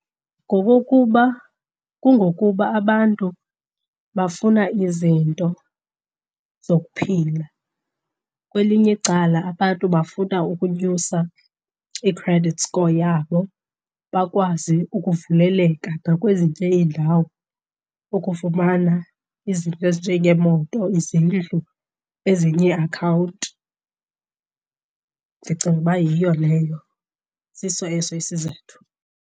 Ngokokuba kungokuba abantu bafuna izinto zokuphila. Kwelinye icala abantu bafuna ukunyusa i-credit score yabo bakwazi ukuvuleleka nakwezinye iindawo, ukufumana izinto ezinjengeemoto, izindlu, ezinye iiakhawunti. Ndicinga uba yiyo leyo, siso eso isizathu.